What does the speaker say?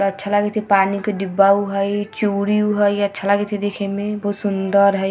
अच्छा लागईत हेय पानी के डिब्बा उ हेय चुरी उ हेय अच्छा लागएत हेय इ देखे मे बहुत सुन्दर हेय ।